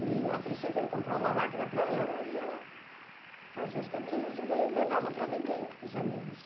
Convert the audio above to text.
E, a princípio, ele comprou uma máquina para ela e ela fazia as camisas e ele levava para vender para os amigos.